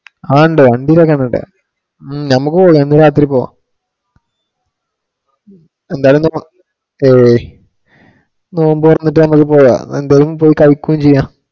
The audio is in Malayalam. അതുണ്ട് വണ്ടിലൊക്കെ എണ്ണ ഉണ്ട്, ഉം ഞമുക്ക്‌ പോകാം ഇന്ന് രാത്രി പോകാം. എന്തായാലും നമക് okay നോമ്പ് തുറന്നിട്ട് നമ്മള് പോയോ എന്തെങ്കിലും പോയി കഴിക്കുകയും ചെയ്യാം